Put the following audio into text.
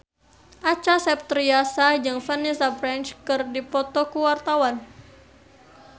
Acha Septriasa jeung Vanessa Branch keur dipoto ku wartawan